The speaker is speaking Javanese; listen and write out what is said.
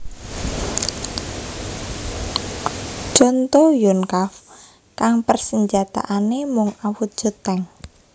Conto Yonkav kang persenjataané mung awujud tank